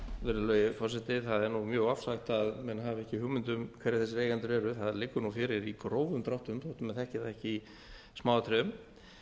virðulegi forseti það er mjög ofsagt að menn hafi ekki hugmynd um hverjir eigendur eru það liggur fyrir í grófum dráttum þó menn þekki það ekki í smáatriðum